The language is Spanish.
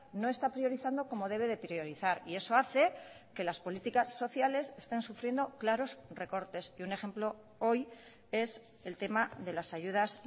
no está priorizando como debe de priorizar y eso hace que las políticas sociales estén sufriendo claros recortes y un ejemplo hoy es el tema de las ayudas